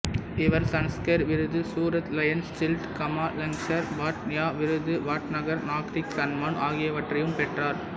இவர் சன்ஸ்கர் விருது Surat Lions Shield Kamalashankar Pandya விருது வாட்நகர் நாக்ரிக் சன்மான் ஆகியவற்றையும் பெற்றார்